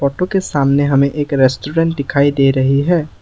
Photo के सामने हमें एक रेस्टोरेंट दिखाई दे रही है।